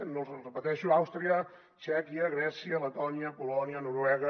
els hi repeteixo àustria txèquia grècia letònia polònia noruega